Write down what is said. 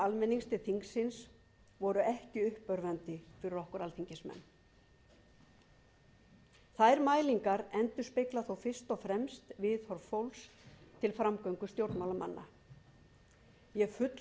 almennings til þingsins voru ekki uppörvandi fyrir okkur alþingismenn þær mælingar endurspegla þó fyrst og fremst viðhorf fólks til framgöngu stjórnmálamanna ég fullyrði að